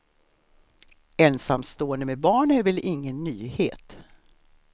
Ensamstående med barn är väl ingen nyhet.